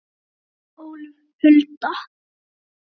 Þín, Ólöf Hulda.